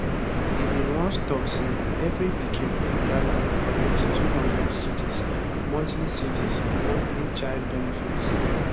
e bin once tok say evri pikin for ghana go collect 200 cedis monthly cedis monthly child benefits